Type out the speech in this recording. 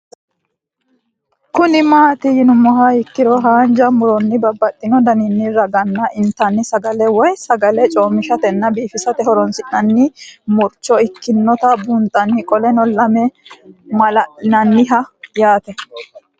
Kuni mati yinumoha ikiro hanja muroni babaxino daninina ragini intani sagale woyi sagali comishatenna bifisate horonsine'morich ikinota bunxana qoleno lame malali'naniho yaate